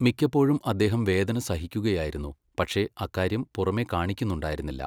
മിക്കപ്പോഴും അദ്ദേഹം വേദന സഹിക്കുകയായിരുന്നു, പക്ഷെ അക്കാര്യം പുറമെ കാണിക്കുന്നുണ്ടായിരുന്നില്ല.